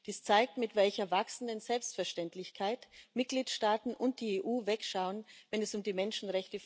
Dies zeigt, mit welcher wachsenden Selbstverständlichkeit Mitgliedstaaten und die EU wegschauen, wenn es um die Menschenrechte von Flüchtlingen geht.